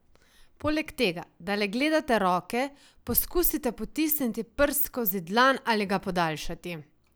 Poleg tega, da le gledate roke, poskusite potisniti prst skozi dlan ali ga podaljšati.